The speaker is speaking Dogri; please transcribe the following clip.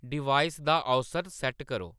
डिवाइस दा औसत सैट्ट करो